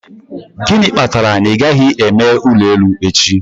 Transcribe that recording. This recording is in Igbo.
Gịnị kpatara na ị gaghị eme ụlọ elu echi?